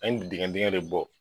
An ye dingɛ dingɛ de bɔ.